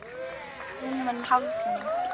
Ég verð komin eftir rúman hálftíma.